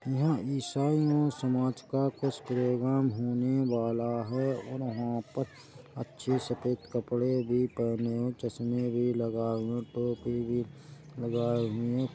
एहा ईसाई यो समाज का कुछ प्रोग्राम होने वाला है और यहाँ पर अच्छे सफ़ेद कपडे भी पहने हुए चश्मे भी लगाए हुए टोपी भी लगाए हुए ।